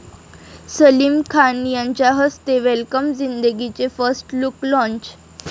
सलीम खान यांच्या हस्ते 'वेलकम जिंदगी 'चे फर्स्ट लुक लाँच